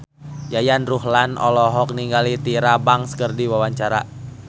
Yayan Ruhlan olohok ningali Tyra Banks keur diwawancara